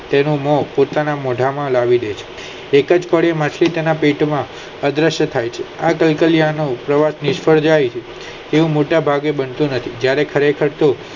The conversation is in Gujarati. તેનું મન પોતાના મોંઢા માં લાવી દે છે એજ જ કદી માસિત ના પેટ નો અદ્વય થાય છે આ કલ્કાલિયા નું નિશ્ચાત થાય છે તેવું બનતું નથી જયારે ખરેખર તે